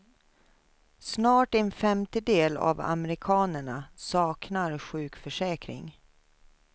Snart en femtedel av amerikanerna saknar sjukförsäkring.